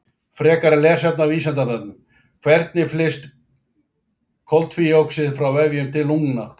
Frekara lesefni á Vísindavefnum: Hvernig flyst koltvíoxíð frá vefjum til lungna?